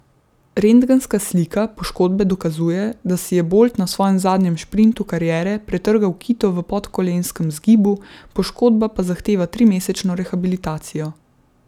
Rentgenska slika poškodbe dokazuje, da si je Bolt na svojem zadnjem šprintu kariere pretrgal kito v podkolenskem zgibu, poškodba pa zahteva trimesečno rehabilitacijo.